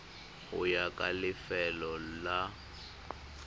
go ya ka lefelo la